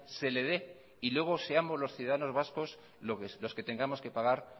se le dé y luego seamos los ciudadanos vascos los que tengamos que pagar